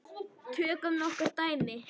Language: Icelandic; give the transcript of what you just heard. Tökum nokkur dæmi.